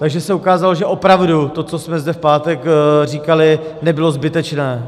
Takže se ukázalo, že opravdu to, co jsme zde v pátek říkali, nebylo zbytečné.